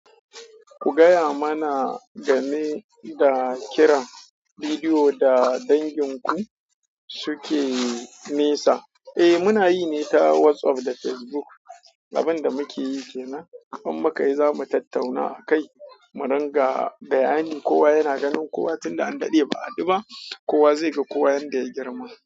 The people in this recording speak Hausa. Ku gaya mana game da kiran bidiyo da dangin ku suke nesa. Eh muna yi ne ta WhatsApp da Facebook. Abin da muke yi kenan, in mu ka yi zamu tattauna akai. Mu ringa bayani kowa yana ganin kowa tin da an daɗe ba a haɗu ba. Kowa zai ga kowa yanda ya girma.